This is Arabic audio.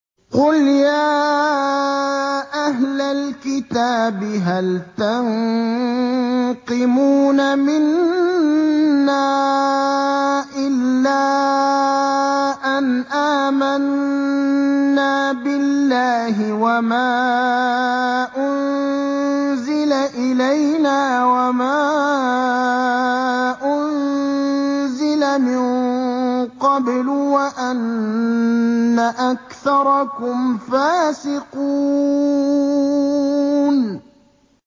قُلْ يَا أَهْلَ الْكِتَابِ هَلْ تَنقِمُونَ مِنَّا إِلَّا أَنْ آمَنَّا بِاللَّهِ وَمَا أُنزِلَ إِلَيْنَا وَمَا أُنزِلَ مِن قَبْلُ وَأَنَّ أَكْثَرَكُمْ فَاسِقُونَ